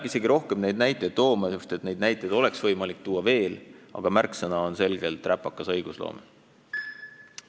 Ma ei hakka rohkem näiteid tooma – neid oleks aga võimalik tuua veel –, ent märksõna on selgelt "räpakas õigusloome".